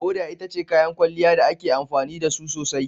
Hoda ita ce kayan kwalliya da ake amfani da su sosai.